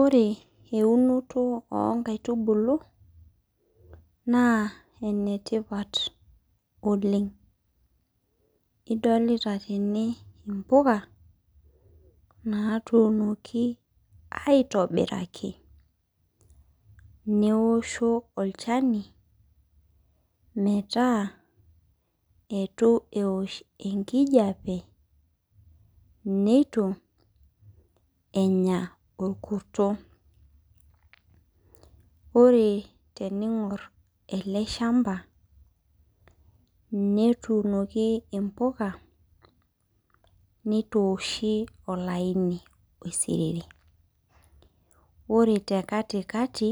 Ore eunoto oo nkaitubulu naa enetipat oleng adolita tene mbuka naitunoki aitobiraki meosho olchani metaa eitu eosh enkijiape neitu enye orkurto ore tening'or ele shamba netumoki mbuka neitoshii olaini oidiriri ore tee katikati